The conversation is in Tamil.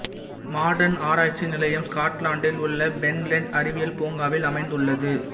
மாடர்ன் ஆராய்ச்சி நிலையம் ஸ்காட்லாந்தில் உள்ள பெண்லேண்ட் அறிவியல் பூங்காவில் அமைந்துள்ளது